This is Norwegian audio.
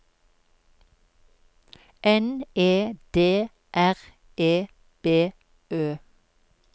N E D R E B Ø